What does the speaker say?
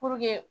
Puruke